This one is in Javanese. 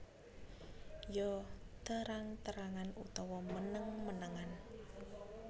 Ya terang terangan utawa meneng menengan